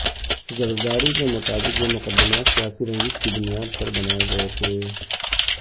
زرداری کے مطابق یہ مقدمات سیاسی رنجش کی بنیاد پر بنائے گئے تھے